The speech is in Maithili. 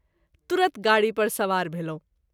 तुरत गाड़ी पर सबार भेलहुँ।